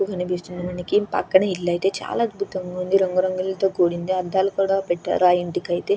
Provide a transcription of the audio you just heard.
కనిపిస్తుంది మనకి పక్కన ఇళ్లయితే చాలా అద్భుతంగా ఉంది రంగు రంగులతో కూడింది అద్దాలు కూడా పెట్టారు ఆ ఇంటికైతే.